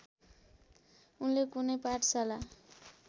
उनले कुनै पाठशाला